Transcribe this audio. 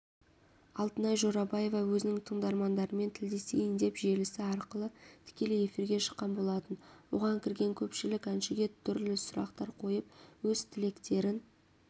алтынай жорабаева өзінің тыңдармандарымен тілдесейін деп желісі арқылы тікелей эфирге шыққан болатын оған кірген көпшілік әншіге түрлі сұрақтар қойып өз тілектерін